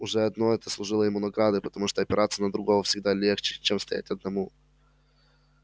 уже одно это служило ему наградой потому что опираться на другого всегда легче чем стоять одному